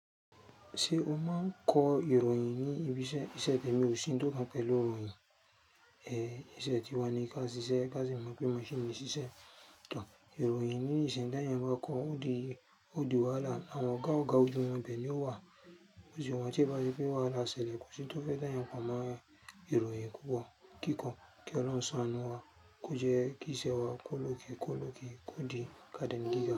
Ṣé o máa ń kọ ìròyìn ní ibi iṣẹ́? Iṣẹ́ temi ò sí tó kan pẹ̀lú ìròyìn, ẹ, iṣẹ́ tiwa ni ká ṣiṣẹ́, ká sì mọ̀ pé mo ṣe mo ṣiṣẹ́ to. Ìròyìn ní ìsìn t'eeyan bá kọ, ó di, ó di wàhálà. Àwọn ọ̀gá-ọ̀gá ojú wọn bẹ̀ ni ó wà. Mó si ranti ti o bá ṣe pé wàhálà ṣẹlẹ̀, kò sí tó fẹ́ dá eeyan pomọ́ ìròyìn kíkọ, kiko, kí Ọlọ́run ṣán anú wa, kó jẹ́ kí iṣẹ́ wa kó lókè, kó lókè, kó di eeyan giga.